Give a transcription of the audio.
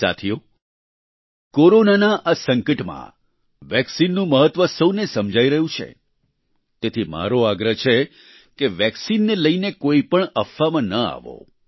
સાથીઓ કોરોનાના આ સંકટમાં વેક્સિનનું મહત્વ સૌને સમજાઈ રહ્યું છે તેથી મારો આગ્રહ છે કે વેક્સિનને લઈને કોઈપણ અફવા માં ન આવો